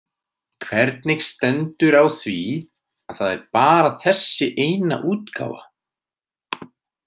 Hvernig stendur á því að það er bara þessi eina útgáfa?